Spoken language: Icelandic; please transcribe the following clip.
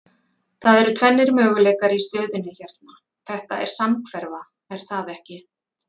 Það eru tvennir möguleikar í stöðunni hérna, þetta er samhverfa er það ekki?